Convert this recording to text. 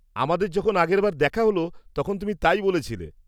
আমাদের যখন আগেরবার দেখা হল তখন তুমি তাই বলেছিলে।